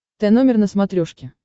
тномер на смотрешке